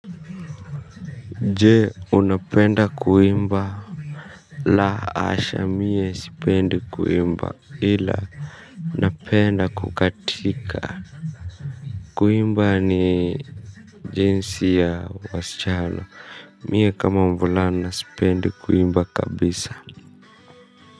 Jee unapenda kuimba la asha mie sipendi kuimba ila uapenda kukatika kuimba ni jinsi ya wasichana mie kama mvulana sipendi kuimba kabisa.